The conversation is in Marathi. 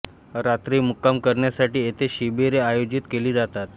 रात्री मुक्काम करण्यासाठी येथे शिबिरे आयोजित केली जातात